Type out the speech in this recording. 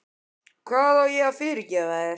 Hvað á ég að fyrirgefa þér?